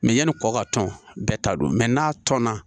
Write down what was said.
yanni kɔkɔ ka tɔn bɛɛ ta don n'a tɔn na